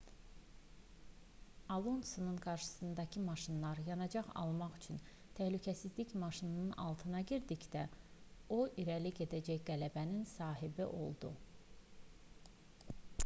alonsonun qarşısındakı maşınlar yanacaq almaq üçün təhlükəsizlik maşınının altına girdikdə o irəli gedərək qələbənin sahibi oldu